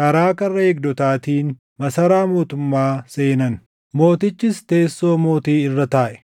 karaa karra eegdotaatiin masaraa mootummaa seenan. Mootichis teessoo mootii irra taaʼe.